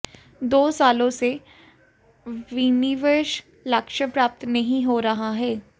दो सालों से विनिवेश लक्ष्य प्राप्त नहीं हो रहा है